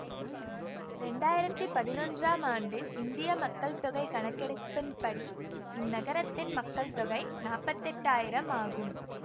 இரண்டாயிரத்தி பதினொன்றாம் ஆண்டின் இந்திய மக்கள் தொகை கணக்கெடுப்பின்படி இந்நகரத்தின் மக்கள் தொகை நாப்பத்தெட்டாயிரம் ஆகும்